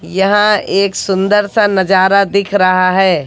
यहां एक सुंदर सा नजारा दिख रहा है।